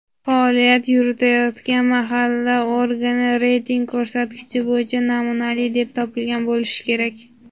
faoliyat yuritayotgan mahalla organi reyting ko‘rsatkichi bo‘yicha "namunali" deb topilgan bo‘lishi kerak.